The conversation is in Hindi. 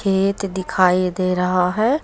खेत दिखाई दे रहा है।